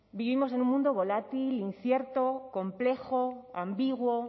vivimos en un mundo volátil incierto complejo ambiguo